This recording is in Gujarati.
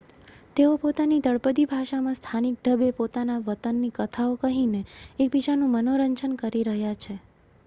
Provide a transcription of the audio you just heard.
તેઓ પોતાની તળપદી ભાષામાં સ્થાનિક ઢબે પોતાના વતનની કથાઓ કહીને એકબીજાનું મનોરંજન કરી રહ્યા છે